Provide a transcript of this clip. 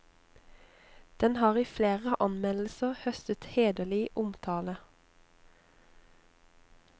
Den har i flere anmeldelser høstet hederlig omtale.